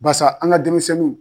Basa an ga denmisɛnnunw